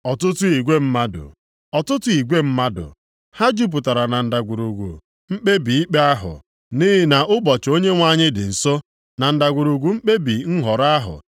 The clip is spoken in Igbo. Ọtụtụ igwe mmadụ, ọtụtụ igwe mmadụ! Ha jupụtara na ndagwurugwu mkpebi ikpe ahụ! Nʼihi na ụbọchị Onyenwe anyị dị nso, na ndagwurugwu mkpebi nhọrọ ahụ.